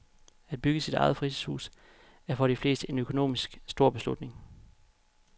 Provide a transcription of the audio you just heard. At bygge sit eget fritidshus er for de fleste en økonomisk, stor beslutning.